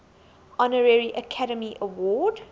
honorary academy award